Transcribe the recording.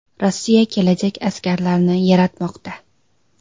Rossiya kelajak askarlarini yaratmoqda.